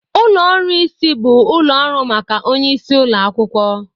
Ụlọ ọrụ isi bụ ụlọ ọrụ maka onye isi ụlọ akwụkwọ